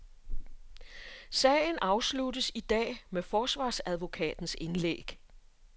Sagen afsluttes i dag med forsvarsadvokatens indlæg.